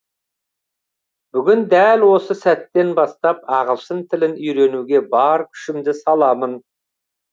бүгін дәл осы сәттен бастап ағылшын тілін үйренуге бар күшімді саламын